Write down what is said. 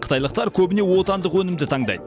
қытайлықтар көбіне отандық өнімді таңдайды